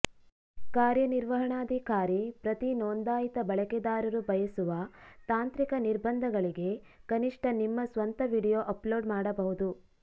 ಕಾರ್ಯನಿರ್ವಹಣಾಧಿಕಾರಿ ಪ್ರತಿ ನೋಂದಾಯಿತ ಬಳಕೆದಾರರು ಬಯಸುವ ತಾಂತ್ರಿಕ ನಿರ್ಬಂಧಗಳಿಗೆ ಕನಿಷ್ಠ ನಿಮ್ಮ ಸ್ವಂತ ವೀಡಿಯೊ ಅಪ್ಲೋಡ್ ಮಾಡಬಹುದು